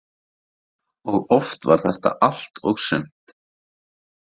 Og oft var þetta allt og sumt.